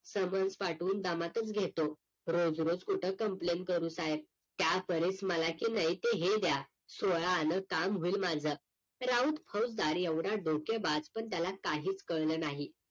समज पाठवून दमातच घेतो रोज रोज कुठं complain करू साहेब त्या परीस मला क नाय ते हे द्या सोळा आन काम होईल माझं राऊत फौजदार एवढा डोकेबाज पण त्याला काहीच कळलं नाही